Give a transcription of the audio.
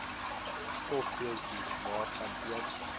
stofdeeltjies waarvan een